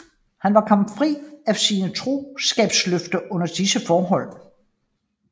Han var kommet fri af sine troskabsløfter under disse forhold